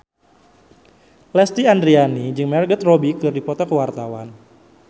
Lesti Andryani jeung Margot Robbie keur dipoto ku wartawan